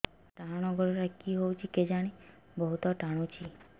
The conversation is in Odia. ମୋର୍ ଡାହାଣ୍ ଗୋଡ଼ଟା କି ହଉଚି କେଜାଣେ ବହୁତ୍ ଟାଣୁଛି